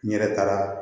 N yɛrɛ taara